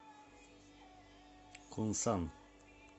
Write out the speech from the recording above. кунсан